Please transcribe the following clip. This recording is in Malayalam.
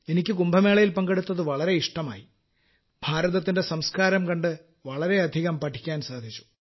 എനിക്ക് കുംഭമേളയിൽ പങ്കെടുത്തത് വളരെ ഇഷ്ടമായി ഭാരതത്തിന്റെ സംസ്കാരം കണ്ട് വളരെയധികം പഠിക്കാൻ സാധിച്ചു